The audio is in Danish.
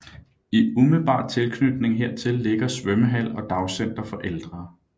I umiddelbar tilknytning hertil ligger svømmehal og dagcenter for ældre